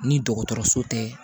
Ni dɔgɔtɔrɔso tɛ